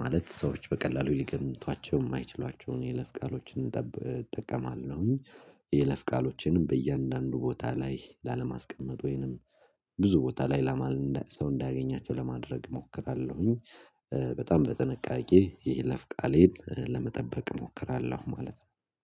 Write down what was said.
ማለት ሰዎች በቀላሉ ሊገምቷቸው የማይችሏቸውን የለፍ ቃሎችን እጠብ እጠቀማለሁኝ። የይለፍ ቃሎችንም በእያንዳንዱ ቦታ ላይ ላለማስቀመጥ ወይንም ብዙ ቦታ ላይ ላማል ሰው እንዳያገኛቸው ለማድረግ እሞክራለሁኝ። በጣም በጥንቃቄ ይሄ ለፍቃሌን ለመጠበቅ እሞክራለሁ ማለት ነው።